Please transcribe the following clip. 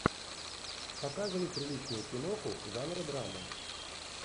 показывай приличную киноху жанра драма